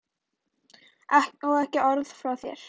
Og ekki orð frá þér!